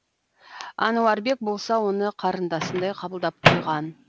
әнуарбек болса оны қарындасындай қабылдап қойған